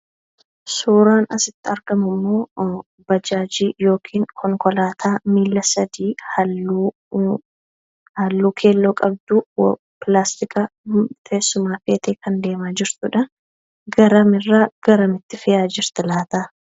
Suuraan asitti argamu immoo bajaajii yookaan konkolaataa miilla sadi halluu keelloo qabdu pilaastika teessumaa baattee deemaa kan jirtudha. Garam irraa garamitti deemaa jirti laata?